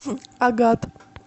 агат